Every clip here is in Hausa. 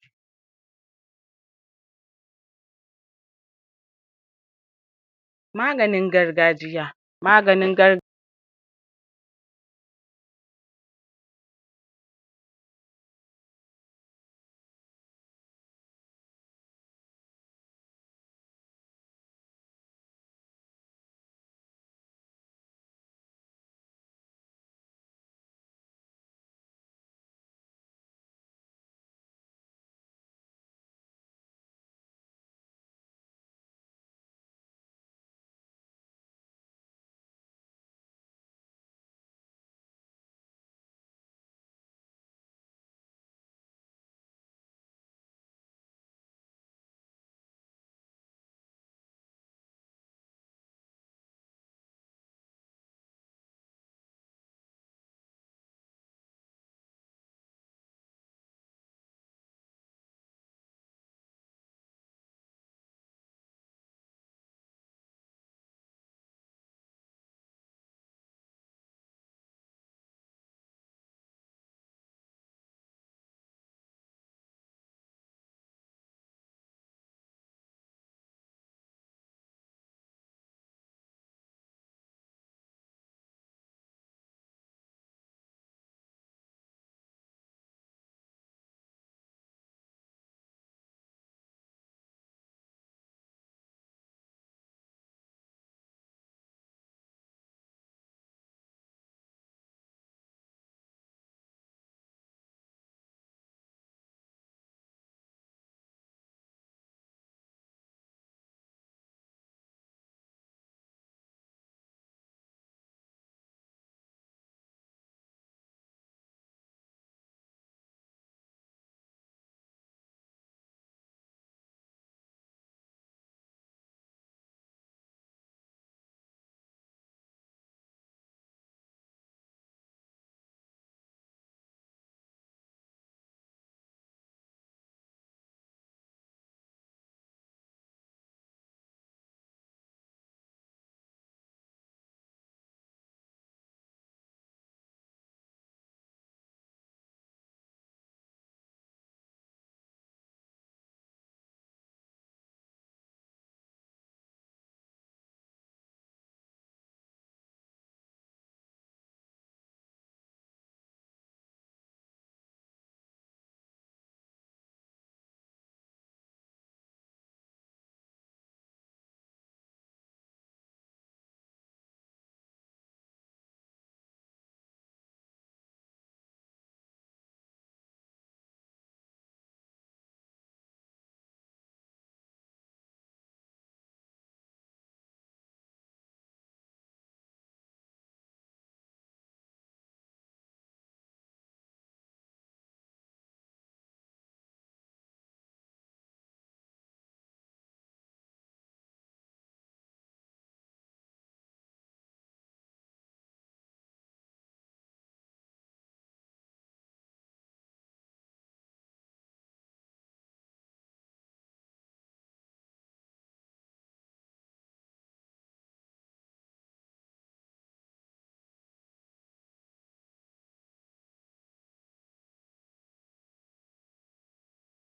pause Maganin gargajiya maganin gar pause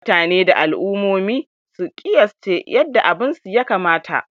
mutane da al'umomi su ƙiyasce yadda abinsu ya kamata